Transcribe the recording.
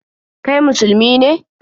Kai Musulmi ne?